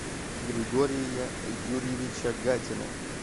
григория юрьевича гатина